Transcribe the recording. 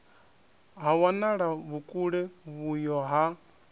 ha wanala vhukule vhuyo ha